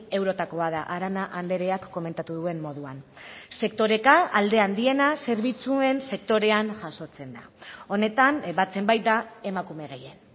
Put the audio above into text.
eurotakoa da arana andreak komentatu duen moduan sektoreka alde handiena zerbitzuen sektorean jasotzen da honetan batzen baita emakume gehien